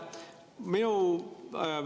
Aitäh!